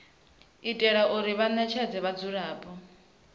u itela u ṋetshedza vhadzulapo